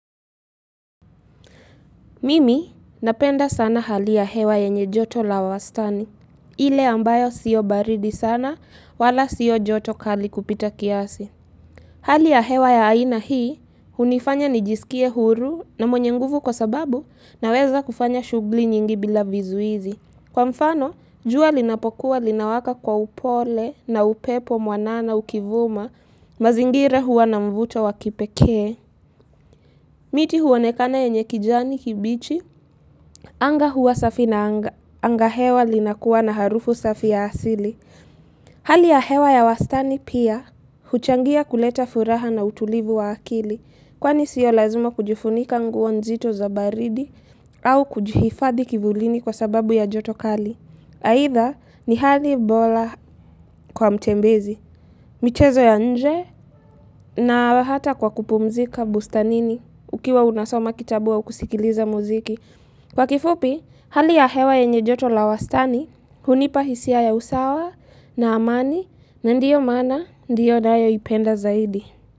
Mimi napenda sana hali ya hewa yenye joto la wastani, ile ambayo sio baridi sana wala sio joto kali kupita kiasi. Hali ya hewa ya aina hii, hunifanya nijisikie huru na mwenye nguvu kwa sababu na weza kufanya shughuli nyingi bila vizuizi. Kwa mfano, jua linapokuwa linawaka kwa upole na upepo mwanana ukivuma, mazingira huwa na mvuto wakipekee. Miti huonekana ye nyekijani kibichi, anga huwa safi na anga hewa linakuwa na harufu safi ya asili. Hali ya hewa ya wastani pia, huchangia kuleta furaha na utulivu wa akili, kwani sio lazima kujifunika nguonzito za baridi, au kujifadhi kivulini kwa sababu ya jotokali. Haitha, ni hali bora kwa mtembezi. Michezo ya nje na hata kwa kupumzika bustanini ukiwa unasoma kitabu au kusikiliza muziki. Kwa kifupi, hali ya hewa ye nye joto la wastani, hunipa hisia ya usawa na amani na ndiyo maana ndiyo nayo ipenda zaidi.